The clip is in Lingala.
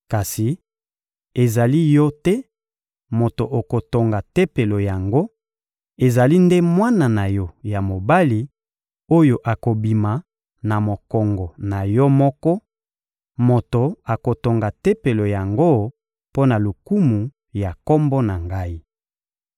Kasi ezali yo te moto okotonga Tempelo yango; ezali nde mwana na yo ya mobali, oyo akobima na mokongo na yo moko, moto akotonga Tempelo yango mpo na lokumu ya Kombo na Ngai.»